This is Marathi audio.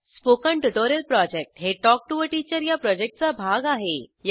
स्पोकन ट्युटोरिअल प्रॉजेक्ट हे टॉक टू टीचर या प्रॉजेक्टचा भाग आहे